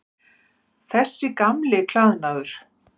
Þessi gamli klæðnaður.